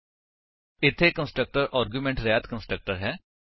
ਇੱਥੇ constructor argument ਰਹਿਤ constructor ਹੈ